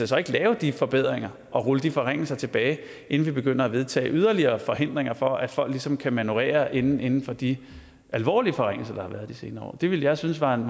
så ikke lave de forbedringer og rulle de forringelser tilbage inden vi begynder at vedtage yderligere forhindringer for at folk ligesom kan manøvrere inden inden for de alvorlige forringelser der har været i de senere år det ville jeg synes var en